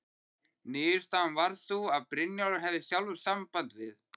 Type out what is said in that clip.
Niðurstaðan varð sú að Brynjólfur hefði sjálfur samband við